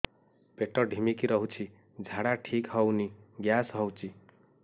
ପେଟ ଢିମିକି ରହୁଛି ଝାଡା ଠିକ୍ ହଉନି ଗ୍ୟାସ ହଉଚି